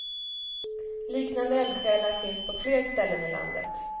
Liknande eldsjälar finns på fler ställen i landet.